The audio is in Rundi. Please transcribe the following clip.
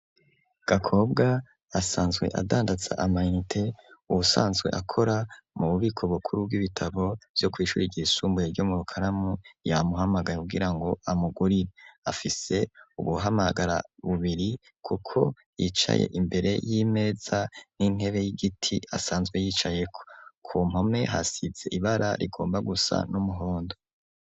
Gakobwa asanzwe adandaza ama inite, uwusanzwe akora mu bubiko bukuru bw'ibitabo bwo kw'ishure ryisumbuye ryo mu Rukaramu yamuhamagaye kugira ngo amugurire. Afise ubuhamagara bubiri kuko yicaye imbere y'imeza n'intebe y'igiti asanzwe yicayeko, ku mpome hasize ibara rigomba gusa n'umuhondo.